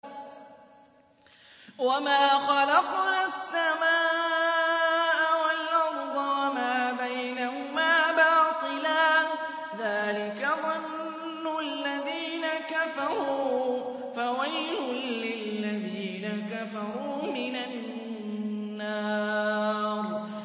وَمَا خَلَقْنَا السَّمَاءَ وَالْأَرْضَ وَمَا بَيْنَهُمَا بَاطِلًا ۚ ذَٰلِكَ ظَنُّ الَّذِينَ كَفَرُوا ۚ فَوَيْلٌ لِّلَّذِينَ كَفَرُوا مِنَ النَّارِ